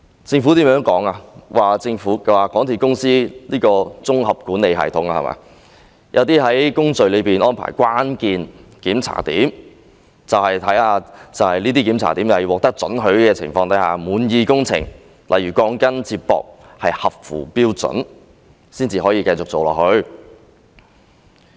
政府說根據香港鐵路有限公司的項目綜合管理系統，在工序中會安排關鍵檢查點，在這些檢查點必須獲得准許或對工程滿意的情況下，例如鋼筋接駁合乎標準，才可以繼續進行工程。